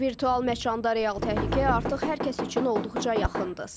Virtual məkanda real təhlükə artıq hər kəs üçün olduqca yaxındır.